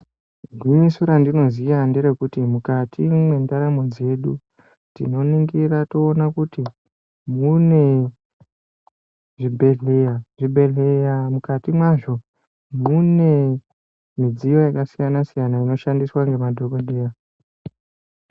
Gwinyiso randinoziya ngerekuti mukati mwendaramo dzedu tinoningira toona kuti munezvibhedhleya mukati mwazvo mune midziyo yakasiyana siyana inoshandiswa ngemadhokoteya.